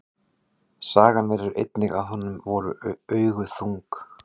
Sagan segir einnig að honum voru augu þung.